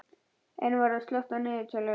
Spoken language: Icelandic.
Einvarður, slökktu á niðurteljaranum.